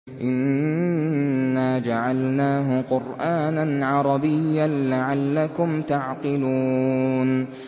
إِنَّا جَعَلْنَاهُ قُرْآنًا عَرَبِيًّا لَّعَلَّكُمْ تَعْقِلُونَ